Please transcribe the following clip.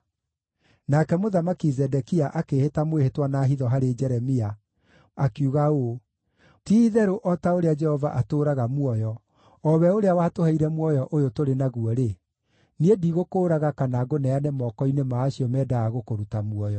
Nake Mũthamaki Zedekia akĩĩhĩta mwĩhĩtwa na hitho harĩ Jeremia, akiuga ũũ: “Ti-itherũ o ta ũrĩa Jehova atũũraga muoyo, o we ũrĩa watũheire muoyo ũyũ tũrĩ naguo-rĩ, niĩ ndigũkũũraga kana ngũneane moko-inĩ ma acio mendaga gũkũruta muoyo.”